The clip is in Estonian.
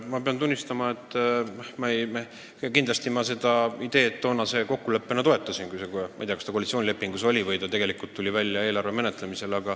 Ma pean tunnistama, et kui ma kindlasti seda ideed toonase kokkuleppena toetasin, ma ei tea, kas see koalitsioonilepingus oli või esitati see eelarve menetlemisel.